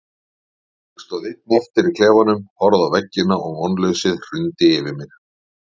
Ég stóð einn eftir í klefanum, horfði á veggina og vonleysið hrundi yfir mig.